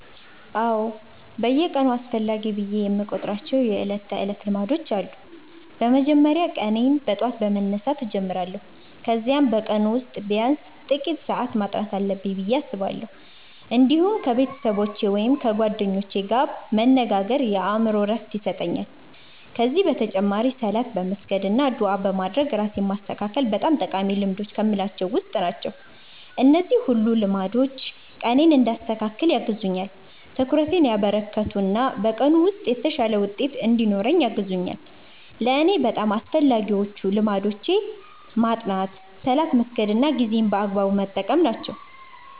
አዎ፣ በየቀኑ አስፈላጊ ብዬ የምቆጥራቸው የዕለት ተዕለት ልማዶች አሉ። በመጀመሪያ ቀኔን በጠዋት በመነሳት እጀምራለሁ፣ ከዚያም በቀኑ ውስጥ ቢያንስ ጥቂት ሰዓት ማጥናት አለብኝ ብዬ አስባለሁ። እንዲሁም ከቤተሰቦቼ ወይም ከጓደኞቼ ጋር መነጋገር የአእምሮ ዕረፍት ይሰጠኛል። ከዚህ በተጨማሪ ሶላት በመስገድ አና ዱዓ በማድረግ ራሴን ማስተካከል በጣም ጠቃሚ ልማዶች ከምላቸዉ ዉስጥ ናቸው። እነዚህ ሁሉ ልማዶች ቀኔን እንዲያስተካክል ያግዙኛል፣ ትኩረቴን ያበረከቱ እና በቀኑ ውስጥ የተሻለ ውጤት እንድኖረኝ ያግዙኛል። ለእኔ በጣም አስፈላጊዎቹ ልማዶች ማጥናት፣ ሶላት መስገድ እና ጊዜን በአግባቡ መጠቀም ናቸው።